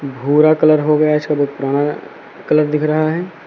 भूरा कलर हो गया इसका बहुत पुराना कलर दिख रहा है।